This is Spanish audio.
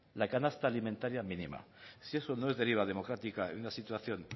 la canasta alimentaria mínima si eso no es deriva democrática en una situación